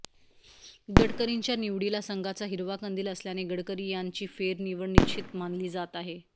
गडकरींच्या निवडीला संघाचा हिरवा कंदिल असल्याने गडकरी यांची फेरनिवड निश्चित मानली जात आहे